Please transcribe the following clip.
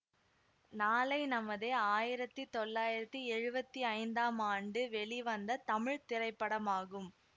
நாளை நமதே ஆயிரத்தி தொள்ளாயிரத்தி எழுவத்தி ஐந்தாம் ஆண்டு வெளிவந்த தமிழ் திரைப்படமாகும்